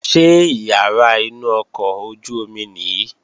Ṣé ìyàrá inú ọkọ̀ ojú-omi nìí?